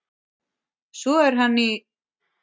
Svo er hann í